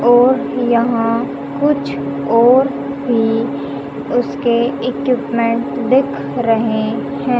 और यहां कुछ और भी उसके इक्विपमेंट दिख रहे हैं।